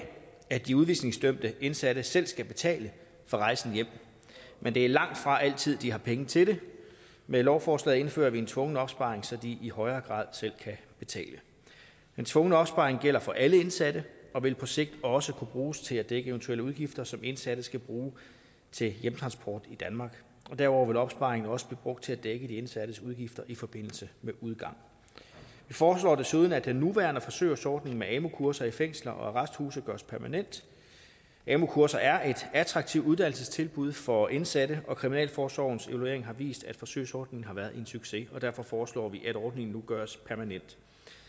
at de udvisningsdømte indsatte selv skal betale for rejsen hjem men det er langtfra altid at de har penge til det med lovforslaget indfører vi en tvungen opsparing så de i højere grad selv kan betale den tvungne opsparing gælder for alle indsatte og vil på sigt også kunne bruges til at dække eventuelle udgifter som indsatte skal bruge til hjemtransport i danmark og derudover vil opsparingen også blive brugt til at dække de indsattes udgifter i forbindelse med udgang vi foreslår desuden at den nuværende forsøgsordning med amu kurser i fængsler og arresthuse gøres permanent amu kurser er et attraktivt uddannelsestilbud for indsatte og kriminalforsorgens evaluering har vist at forsøgsordningen har været en succes og derfor foreslår vi at ordningen nu gøres permanent